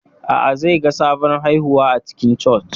A'a, zai ga sabon haihuwa a cikin Church.